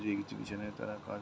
যদি কিছু বোঋে না তারা কাজ |